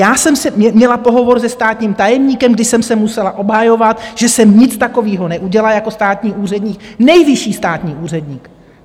Já jsem měla pohovor se státním tajemníkem, kdy jsem se musela obhajovat, že jsem nic takového neudělala, jako státní úředník, nejvyšší státní úředník.